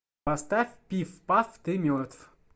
поставь пиф паф ты мертв